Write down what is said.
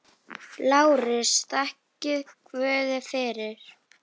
LÁRUS: Þakkið guði fyrir.